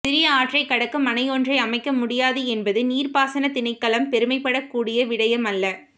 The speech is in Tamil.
சிறிய ஆற்றைக் கடக்கும் அணையொன்றை அமைக்க முடியாது என்பது நீர்பாசனத் திணைக்களம் பெருமைப்படக் கூடிய விடயம் அல்ல